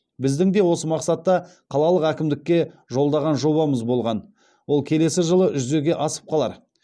біздің де осы мақсатта қалалық әкімдікке жолдаған жобамыз болған ол келесі жылы жүзеге асып қалар